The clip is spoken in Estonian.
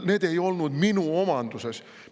Need ei olnud minu omanduses.